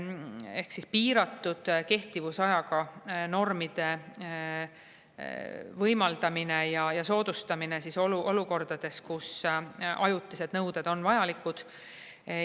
Ehk siis piiratud kehtivusajaga normide võimaldamine ja soodustamine olukordades, kus ajutised nõuded on vajalikud.